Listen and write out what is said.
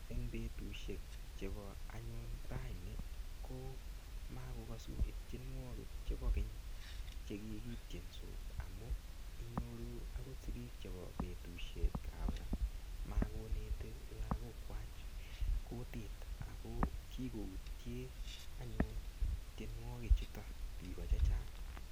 Eng' betushek chebo anyun raini ko makokosu tienwokik chebo keny chekikityensot amu inyoru akot sikik chebo betushiekab ra makoneti lakokwach kutit ako kikoutye anyun tienwoki chuto biko chechang'